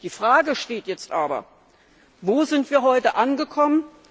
Die Frage lautet jetzt aber Wo sind wir heute angekommen?